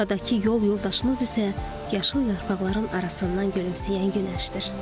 Buradakı yol yoldaşınız isə yaşıl yarpaqların arasından gülümsəyən günəşdir.